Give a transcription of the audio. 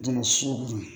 Don so kɔnɔ